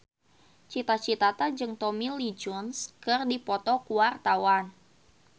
Cita Citata jeung Tommy Lee Jones keur dipoto ku wartawan